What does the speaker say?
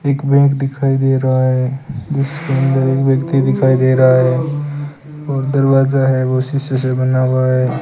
एक बैग दिखाई दे रहा है जिसके अंदर एक व्यक्ति दिखाई दे रहा है और दरवाजा है वह शीशे से बना हुआ है।